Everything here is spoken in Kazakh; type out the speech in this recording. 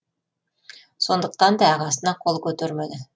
сондықтан да ағасына қол көтермеді